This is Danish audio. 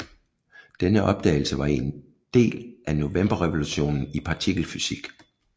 Denne opdagelse var en del af novemberrevolutionen i partikelfysik